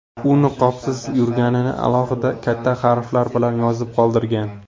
U niqobsiz yurganini alohida, katta harflar bilan yozib qoldirgan.